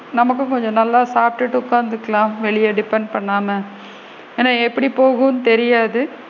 நமக்கு கொஞ்சம் நல்லா சாப்டுட்டு உட்காந்துக்கலாம் வெளில depend பண்ணாம ஏன்னா? எப்படி போகும்ன்னு தெரியாது!